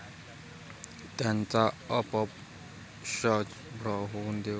त्याचा अपभ्रंश होऊन देवरुख असा झाला.